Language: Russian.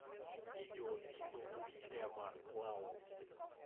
видеофильмы уильяма лау